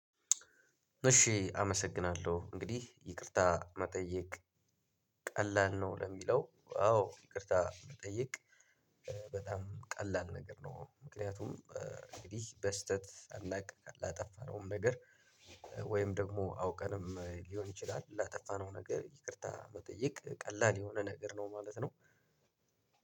እሺ አመሰግናለሁ እንግዲህ ይቅርታ መጠየቅ ቀላል ነው ለሚለው አዎ ይቅርታ መጠየቅ በጣም ቀላል ነገር ነው። ምክንያቱም እንግዲህ በስህተት ሳናውቅ ላጠፋነውም ነገር። ወይም ደግሞ አውቀንም ሊሆን ይችላል ላጠፋነው ነገር ይቅርታ መጠየቅ ቀላል የሆነ ነገር ነው ማለት ነው።